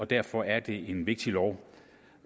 derfor er en vigtig lov